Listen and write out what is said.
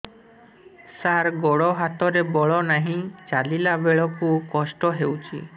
ସାର ଗୋଡୋ ହାତରେ ବଳ ନାହିଁ ଚାଲିଲା ବେଳକୁ କଷ୍ଟ ହେଉଛି